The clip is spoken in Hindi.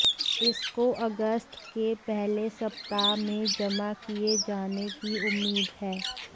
इसको अगस्त के पहले सप्ताह में जमा किये जाने की उम्मीद है